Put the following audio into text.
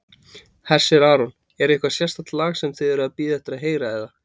Hersir Aron: Er eitthvað sérstakt lag sem þið eruð að bíða eftir að heyra eða?